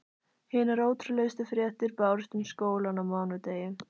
Hinar ótrúlegustu fréttir bárust um skólann á mánudegi.